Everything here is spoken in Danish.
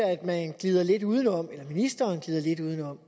at man glider lidt uden om ministeren glider lidt uden om